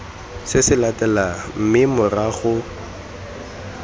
se se latelang mme morago